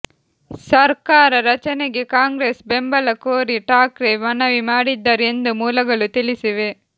ಸರ್ಕಾರ ರಚನೆಗೆ ಕಾಂಗ್ರೆಸ್ ಬೆಂಬಲ ಕೋರಿ ಠಾಕ್ರೆ ಮನವಿ ಮಾಡಿದ್ದರು ಎಂದು ಮೂಲಗಳು ತಿಳಿಸಿವೆ